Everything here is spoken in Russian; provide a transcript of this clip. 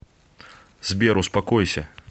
сбер успокойся